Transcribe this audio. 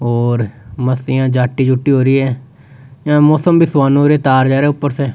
और मस्तिया जाटी जुटी हो रहि है यह मौसम भी सुहानो हो रहयो तार जा रह्यो ऊपर स।